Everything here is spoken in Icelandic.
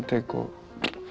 tek og